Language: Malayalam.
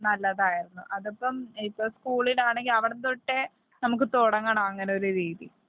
ഇല്ലില്ല. നല്ലതായിരുന്നു.അതിപ്പം ഇപ്പം. സ്കൂളിലാണെങ്കിൽ അവിടം തൊട്ടേ നമ്മുക്ക് തുടങ്ങണം അങ്ങനെ ഒരു രീതി